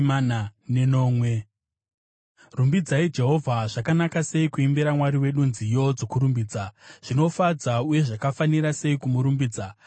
Rumbidzai Jehovha. Zvakanaka sei kuimbira Mwari wedu nziyo dzokurumbidza, zvinofadza uye zvakafanira sei kumurumbidza!